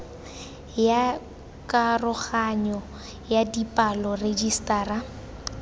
ya karoganyo ya dipalo rejisetara